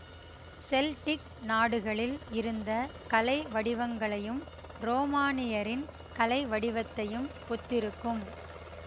Celtic நாடுகளில் இருந்த கலை வடிவங்களையும் ரோமானியரின் கலைவடிவத்தையும் ஒத்திருக்கும்